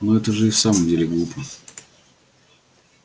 ну это же и в самом деле глупо